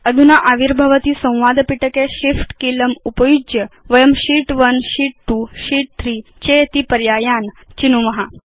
अधुना आविर्भवति संवाद पिटके shift कीलम् उपयुज्य वयं शीत् 1 शीत् 2 शीत् 3 चेति पर्यायान् चिनुम